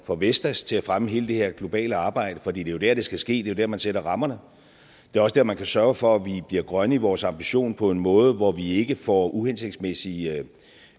for vestas til at fremme hele det her globale arbejde for det er jo der det skal ske det er jo der man sætter rammerne det er også der man kan sørge for at vi bliver grønne i vores ambition på en måde hvor vi ikke får uhensigtsmæssige